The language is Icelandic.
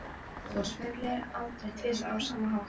Þú sveiflaðir aldrei tvisvar á sama hátt.